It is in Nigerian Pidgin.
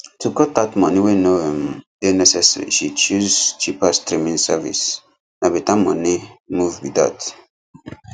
to cut out money wey no um dey necessary she choose cheaper streaming service na better money move be that